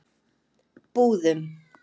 Búðum